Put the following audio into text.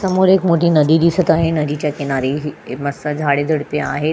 समोर एक मोठी नदी दिसत आहे नदीच्या किनारे हि मस्त झाडे झुडपे आहे.